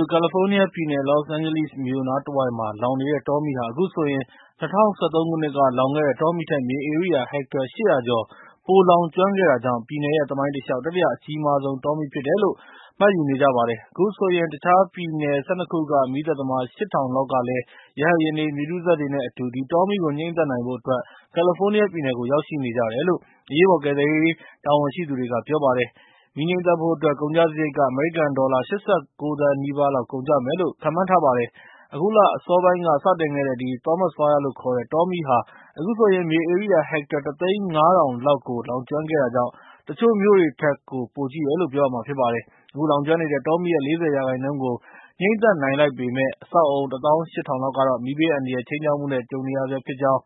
စု ကယ်လီဖိုနီးယားပြည်နယ် Los Angeles မြို့နားတဝိုက်မှာ လောင်နေတဲ့ တောမီးဟာ ၊ အခုဆိုရင် ၂၀၁၃ ခုနှစ်က လောင်ခဲ့တဲ့ တောမီးထက် မြေဧရိယာ ဟက်တာ ၈၀၀ ကျော် ပိုလောင်ကျွမ်းခဲ့တာကြောင့်၊ ပြည်နယ်ရဲ့ သမိုင်းတလျှောက် တတိယ အကြီးမားဆုံး တောမီးဖြစ်တယ်လို့ မှတ်ယူနေကြပါတယ်။ အခုဆိုရင် တခြားပြည်နယ် ၁၂ ခုက မီးသတ်သမား ၈ ထောင်လောက်ကလည်း ရဟတ်ယာဉ်တွေ မြေတူးစက်တွေ နဲ့ အတူ ဒီတောမီးကို ငြိမ်းသတ်ဖို့အတွက် ကယ်လီဖိုးနီးယားပြည်နယ်ကို ရောက်ရှိနေကြတယ်လို့ အရေးပေါ်ကယ်ဆယ်ရေးတာဝန်ရှိသူတွေက ပြောပါတယ်။ မီးငြှိမ်းသတ်ဖို့အတွက် ကုန်ကျစရိတ်က အမေရိကန်ဒေါ်လာ ၈၉ သန်း နီးပါးကုန်ကျမယ်လို့ ခန့်မှန်းနေကြပါတယ်။ အခုလအစောပိုင်းက စတင်ခဲ့တဲ့ ဒီ Thomas Fire လို့ခေါ်တဲ့ တောမီးဟာ အခုဆိုရင် မြေဧရိယာ ဟက်တာ ၁ သိန်း ၅ ထောင်လောက်ကို လောင်ကျွမ်းခဲ့တာကြောင့် ၊ တချို့မြို့တွေထက်ကို ပိုကြီးတယ်လို့ ပြောရမှာဖြစ်ပါတယ်။ အခုလောင်ကျွမ်းနေတဲ့ တောမီးရဲ့ ၄၀ ရာခိုင်နှုန်းကို ငြိမ်းသတ်နိုင်လိုက်ပေမယ့်၊ အဆောက်အအုံ ၁၈၀၀၀ လောက်ကတော့ မီးဘေးအန္တရာယ်ခြိမ်းခြောက်မှု နဲ့ ကြုံနေရဆဲဖြစ်ကြောင်း